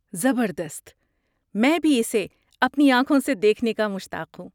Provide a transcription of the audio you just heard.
زبردست! میں بھی اسے اپنی آنکھوں سے دیکھنے کا مشتاق ہوں۔